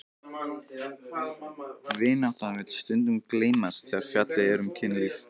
Vináttan vill stundum gleymast þegar fjallað er um kynlíf.